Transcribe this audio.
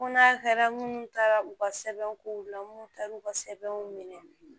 Ko n'a kɛra munnu taara u ka sɛbɛnkow la munnu taar'u ka sɛbɛnw minɛ